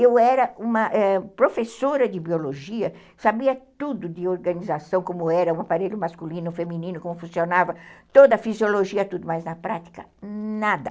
Eu era ãh uma professora de biologia, sabia tudo de organização, como era o aparelho masculino, feminino, como funcionava, toda a fisiologia, tudo, mas na prática, nada.